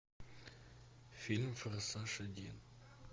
фильм форсаж один